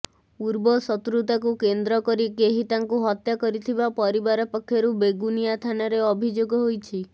ପୂର୍ବ ଶତ୍ରୁତାକୁ କେନ୍ଦ୍ର କରି କେହି ତାଙ୍କୁ ହତ୍ୟା କରିଥିବା ପରିବାର ପକ୍ଷରୁ ବେଗୁନିଆ ଥାନାରେ ଅଭିଯୋଗ ହୋଇଛି